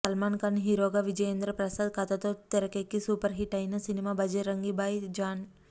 Salman Khan hero గా విజయేంద్రప్రసాద్ కథతో తెరకెక్కి సూపర్ హిట్ అయినా సినిమా బజరంగీ భాయ్ జాన్